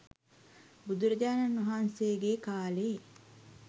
බුදුරජාණන් වහන්සේගේ කාලේ